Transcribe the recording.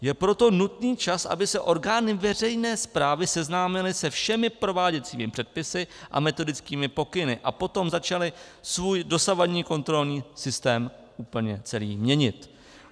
Je proto nutný čas, aby se orgány veřejné správy seznámily se všemi prováděcími předpisy a metodickými pokyny a potom začaly svůj dosavadní kontrolní systém úplně celý měnit.